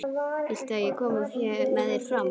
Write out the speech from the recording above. Viltu að ég komi með þér fram?